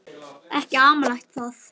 Ekki amalegt það.